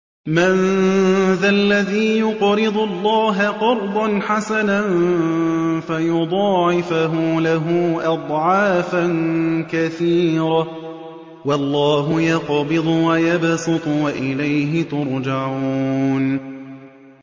مَّن ذَا الَّذِي يُقْرِضُ اللَّهَ قَرْضًا حَسَنًا فَيُضَاعِفَهُ لَهُ أَضْعَافًا كَثِيرَةً ۚ وَاللَّهُ يَقْبِضُ وَيَبْسُطُ وَإِلَيْهِ تُرْجَعُونَ